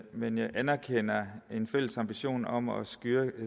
men jeg anerkender en fælles ambition om at